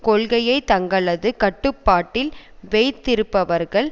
கொள்கையை தங்களது கட்டுப்பாட்டில் வைத்திருப்பவர்கள்